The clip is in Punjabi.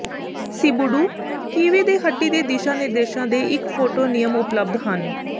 ਸਿਬੂੁਡੂ ਕਿਵੇ ਦੇ ਹੱਡੀ ਦੇ ਦਿਸ਼ਾ ਨਿਰਦੇਸ਼ਾਂ ਦੇ ਇੱਕ ਫੋਟੋ ਨਿਯਮ ਉਪਲਬਧ ਹਨ